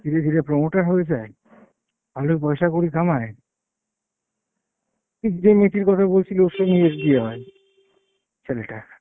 ধীরে ধীরে promoter হয়ে যায়, ভালোই পয়সাকড়ি কামায়। তুই যেই মেয়েটির কথা বলছিলি ওর সঙ্গে এর বিয়ে হয়, ছেলেটার।